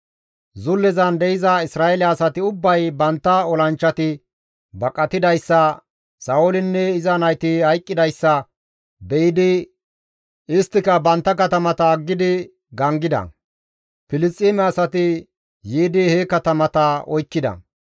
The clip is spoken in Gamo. Zullezan de7iza Isra7eele asati ubbay bantta olanchchati baqatidayssa, Sa7oolinne iza nayti hayqqidayssa be7idi isttika bantta katamata aggidi gangida; Filisxeeme asati yiidi he katamata oykkida.